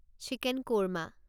chicken korma